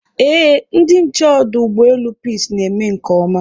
Eé, ndị nche ọdụ ụgbọelu Peace na-eme nke ọma